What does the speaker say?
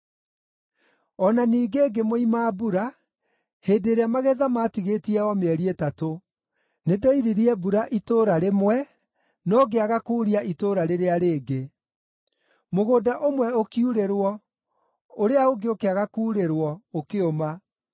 “O na ningĩ ngĩmũima mbura, hĩndĩ ĩrĩa magetha maatigĩtie o mĩeri ĩtatũ. Nĩndoiririe mbura itũũra rĩmwe, no ngĩaga kuuria itũũra rĩrĩa rĩngĩ. Mũgũnda ũmwe ũkiurĩrwo; ũrĩa ũngĩ ũkĩaga kuurĩrwo, ũkĩũma.